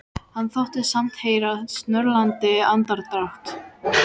Hann þóttist samt heyra snörlandi andardrátt.